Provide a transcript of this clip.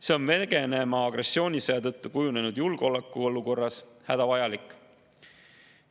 See on Venemaa agressioonisõja tõttu kujunenud julgeolekuolukorras hädavajalik.